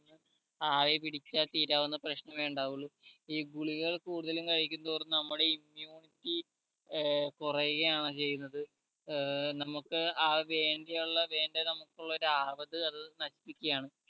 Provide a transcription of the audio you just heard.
ആവി പിടിച്ചാൽ തീരാവുന്ന പ്രശ്നമേ ഉണ്ടാവുള്ളു ഈ ഗുളികകൾ കൂടുതൽ കഴിക്കുന്തോറും നമ്മുടെ ഈ immunity ഏർ കൊറയുകയാണ് ചെയ്യുന്നത് ഏർ നമ്മുക്ക് ആ വേണ്ടിയുള്ള വേണ്ട നമുക്ക് ഉള്ള ഒരു അവത് അത് നശിപ്പിക്കുകയാണ്‌